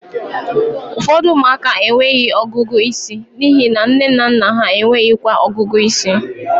Ụfọdụ ụmụaka enweghị ọgụgụ isi n'ihi na nne na nna ha enweghịkwa ọgụgụ ịsị